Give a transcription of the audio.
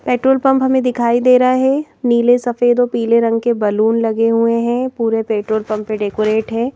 Petrol pump हमें दिखाई दे रहा है नीले सफेद और पीले रंग के बलून लगे हुए हैं पूरे पेट्रोल पंप पे डेकोरेट है।